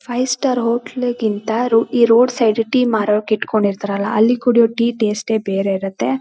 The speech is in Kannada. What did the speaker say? ಫೈವ್ ಸ್ಟಾರ್ ಹೋಟೆಲ್ ಗಿಂತ ರೋ ಇ ರೋಡ್ ಸೈಡ್ ಟಿ ಮಾರೋಕ್ ಇಟ್ಕೊಂಡಿರ್ತರಲ್ಲಾ ಅಲ್ಲಿ ಕುಡಿಯೋ ಟಿ ಟೇಸ್ಟೇ ಬೇರೆ ಇರುತ್ತೆ.